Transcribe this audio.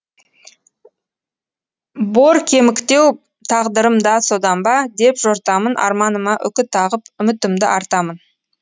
боркеміктеу тағдырым да содан ба деп жортамын арманыма үкі тағып үмітімді артамын